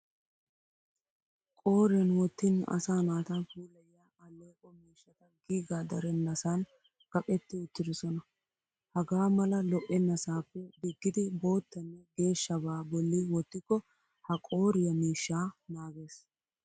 Qooriyan wottin asa naata puulayiya alleeqo miishshata giigaa darennasan kaqetti uttidosona. Hagaa mala lo'ennasaappe diggidi boottanne geeshshabaa bolli wottikko ha qooriya miishshaa naages.